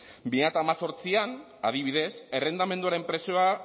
bi mila hemezortzian adibidez errentamenduaren prezioa